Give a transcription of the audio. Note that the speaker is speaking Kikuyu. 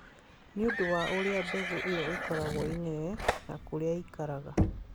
Nĩ ũndũ wa ũrĩa mbegũ ĩyo ĩkoragwo ĩnene, na kũrĩa ĩikaraga.